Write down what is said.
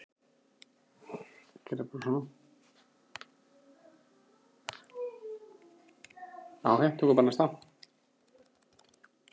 var hrópað.